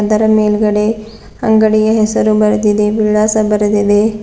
ಅದರ ಮೇಲ್ಗಡೆ ಅಂಗಡಿಯ ಹೆಸರು ಬರೆದಿದೆ ವಿಳಾಸ ಬರೆದಿದೆ.